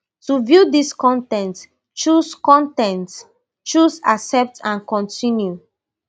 to view dis con ten t choose con ten t choose accept and continue